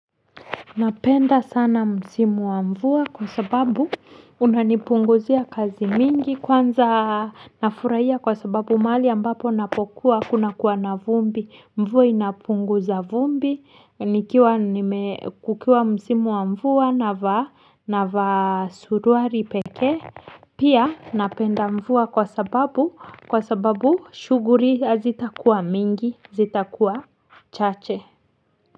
Napenda sana msimu wa mvua kwa sababu inanipunguzia kazi mingi kwanza nafurahia kwa sababu mahali ambapo napokuwa kuna kuwa na vumbi mvua inapunguza vumbi nikiwa nime kukiwa msimu wa mvua na vaa na vaa suruari peke pia napenda mvua kwa sababu kwa sababu shuguli hazitakuwa mingi zitakuwa chache.